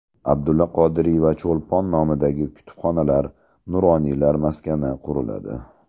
Abdulla Qodiriy va Cho‘lpon nomidagi kutubxonalar, Nuroniylar maskani quriladi.